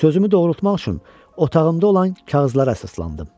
Sözümü doğrultmaq üçün otağımda olan kağızlara əsaslandım.